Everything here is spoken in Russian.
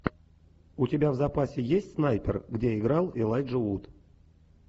у тебя в запасе есть снайпер где играл элайджа вуд